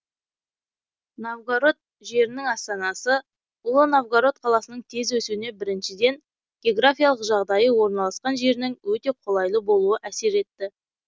новгарод жерінің астанасы ұлы новгарод қаласының тез өсуіне біріншіден географиялық жағдайы орналасқан жерінің өте қолайлы болуы әсер етті